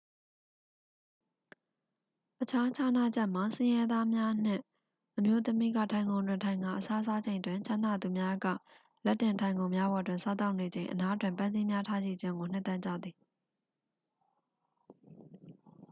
အခြားခြားနားချက်မှာ ဆင်းရဲသားများနှင့် အမျိုးသမီးက ထိုင်ခုံတွင် ထိုင်ကာ အစားစားချိန်တွင် ချမ်းသာသူများက လက်တင်ထိုင်ခုံများပေါ်တွင် စားသောက်နေချိန် အနားတွင် ပန်းစည်းများထားရှိခြင်းကို နှစ်သက်ကြသည်